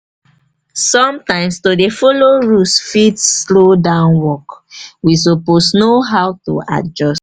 sometimes to dey follow rules fit rules fit slow down work. we suppose know how to adjust.